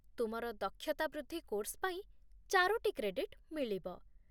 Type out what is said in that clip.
ତୁମର ଦକ୍ଷତା ବୃଦ୍ଧି କୋର୍ସ ପାଇଁ ଚାରୋଟି କ୍ରେଡିଟ୍ ମିଳିବ